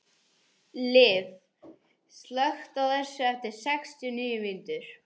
Liv, slökktu á þessu eftir sextíu og níu mínútur.